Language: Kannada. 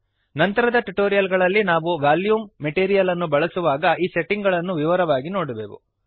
ನಂತರದ ಟ್ಯುಟೋರಿಯಲ್ ಗಳಲ್ಲಿ ನಾವು ವಾಲ್ಯೂಮ್ ಮೆಟೀರಿಯಲ್ ಅನ್ನು ಬಳಸುವಾಗ ಈ ಸೆಟ್ಟಿಂಗ್ ಗಳನ್ನು ವಿವರವಾಗಿ ನೋಡುವೆವು